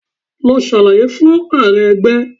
Lọ ṣàlàyé fún Ààrẹ ẹgbẹ́!